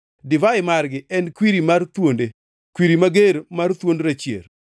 Divai margi en kwiri mar thuonde, kwiri mager mar thuond rachier.